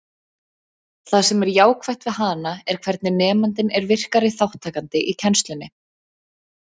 Það sem er jákvætt við hana er hvernig nemandinn er virkari þátttakandi í kennslunni.